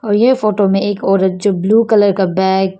ये फोटो में एक औरत जो ब्लू कलर का बैग --